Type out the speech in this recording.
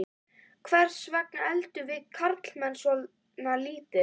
Hvers vegna eldum við karlmenn svona lítið?